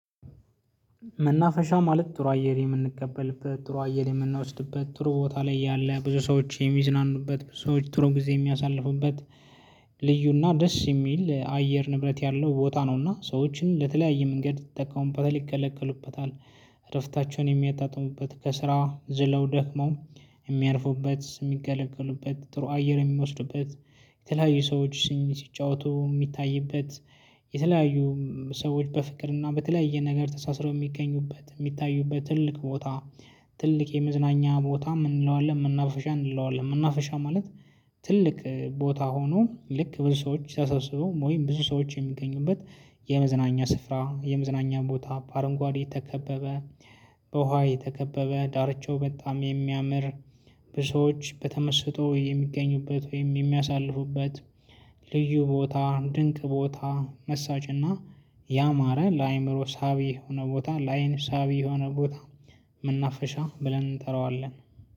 መናፈሻ ማለት ጥሩ አየር የምንቀበልበት ጥሩ አየር የምንወስድበት ጥሩ ቦታ ላይ ያለ ብዙ ሰዎች የሚዝናኑበት ሰዎች ጥሩ ጊዜ የሚያሳልፉበት። ልዩ እና ደስ የሚል አየር ንብረት ያለው ቦታ ነውና ሰዎችም ለተለያየ መንገድ ይጠቀሙበታል ይገለገሉበታል። እረፍታቸውን የሚያጣጥሙበት ከስራ ዝለው ደክመው። የሚያርፉበት የሚገለግሉበት ጥሩ አየር የሚወስዱበት። የተለያዩ ሰዎች ሲሲጫወቱ የሚታይበት። የተለያዩ ሰዎች በፍቅርና በተለያየ ነገር ተሳስረው የሚገኙበት የሚታዩበት ትልቅ ቦታ። ትልቅ የመዝናኛ ቦታ ምን እንለዋለን መናፈሻ እንለዋለን መናፋሻ ማለት? ትልቅ ቦታ ሆኖ ልክ ብዙ ሰዎች ተሰብስበው ወይም ብዙ ሰዎች የሚገኙበት። የመዝናኛ ስፍራ የመዝናኛ ቦታ በአረንጓዴ የተከበበ። በውሃ የተከበበ ዳርቻው በጣም የሚያምር። ብዙ ሰዎች በተመስጦ የሚገኙበት ወይም የሚያሳልፉበት። ልዩ ቦታ ድንቅ ቦታ መሳጭና። ያማረ ለአእምሮ ሳቢ የሆነ ቦታ ለዐይን ሳቢ የሆነ ቦታ። መናፈሻ ብለን እንጠራዋለን።